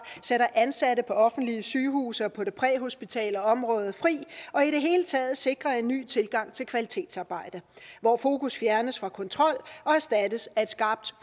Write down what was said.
sætter ansatte på offentlige sygehuse og på det præhospitale område fri og i det hele taget sikrer en ny tilgang til kvalitetsarbejde hvor fokus fjernes fra kontrol og erstattes af et skarpt